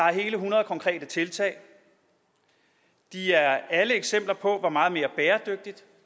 er hele hundrede konkrete tiltag de er alle eksempler på hvor meget mere bæredygtigt